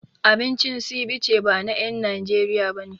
Abincin Ceviche ba na en Najeriya bane